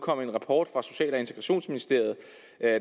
kommet en rapport fra social og integrationsministeriet